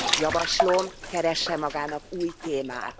Javaslom, keressen magának új témát!